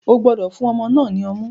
O gbọdọ fun ọmọ náà ni ọmu!